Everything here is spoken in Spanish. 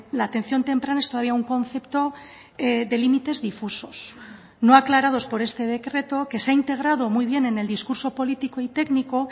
la atención temprana es todavía un concepto de límites difusos no aclarados por este decreto que se ha integrado muy bien en el discurso político y técnico